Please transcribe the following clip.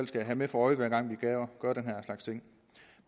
skal have for øje hver gang vi gør den her slags ting